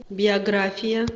биография